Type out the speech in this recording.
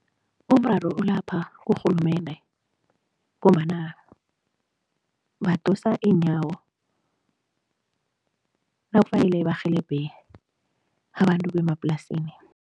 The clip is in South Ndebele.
Umraro ulapha kurhulumende ngombana badosa iinyawo nakufanele barhelebhe abantu bemaplasini.